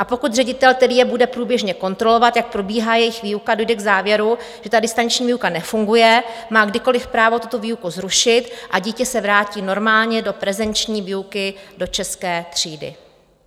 A pokud ředitel, který je bude průběžně kontrolovat, jak probíhá jejich výuka, dojde k závěru, že ta distanční výuka nefunguje, má kdykoliv právo tuto výuku zrušit a dítě se vrátí normálně do prezenční výuky do české třídy.